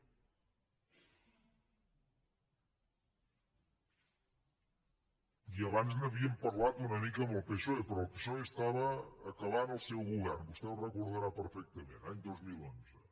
i abans n’havíem parlat una mica amb el psoe però el psoe acabava el seu govern vostè ho deu recordar perfectament any dos mil onze